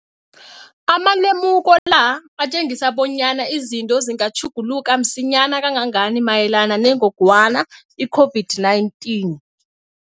Amalemuko la atjengisa bonyana izinto zingatjhuguluka msinyana kangangani mayelana nengogwana i-COVID-19.